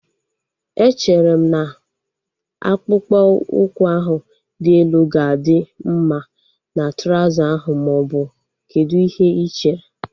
Echere m na akpụkpọ ụkwụ ahu dị elu ga-adị mma na trauza ahu maọbụ kedụ ihe ị chere?